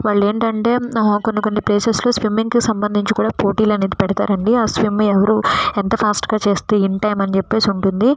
వాళ్ళు ఏమిటి అంటే కొన్ని కొన్ని ప్లేస్లో కోన స్విమ్మింగ్కీ సంబంధిచిన పోటీలు అనేది పెడతారలో ఎవరు స్విమ్మింగ్ ఎవరు ఆ స్విమ్మింగ్ ఫాస్టుగా చేస్తారో వారు ఇన్ టైమ్ ఆణి ఉంటుంది.